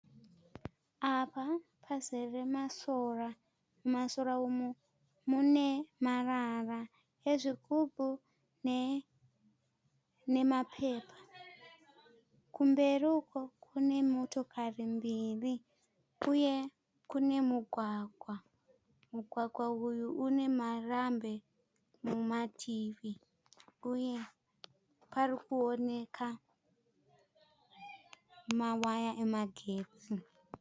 Apa pazere masora, mumasora umu mune marara ezvigubhu ne nemapepa. Kumberi uko kune motokari mbiri uye kune mugwagwa. Mugwagwa uyu unemarambi mumativi uye parikuoneka mawaya emagetsi.